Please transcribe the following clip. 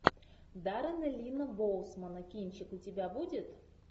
даррена линна боусмана кинчик у тебя будет